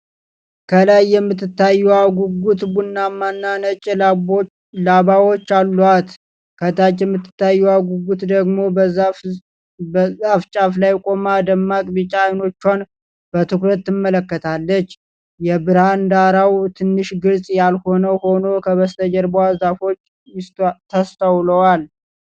ከላይ የምትታየው ጉጉት ቡናማና ነጭ ላባዎች አሏት፤ ከታች የምትታየው ጉጉት ደግሞ በዛፍ ጫፍ ላይ ቆማ ደማቅ ቢጫ ዓይኖቿን በትኩረት ትመለከታለች። የብርሃን ዳራው ትንሽ ግልጽ ያልሆነ ሆኖ ከበስተጀርባ ዛፎች ተስተውለዋል።